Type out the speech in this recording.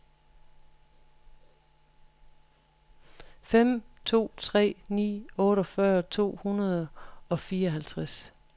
fem to tre ni otteogfyrre to hundrede og fireoghalvtreds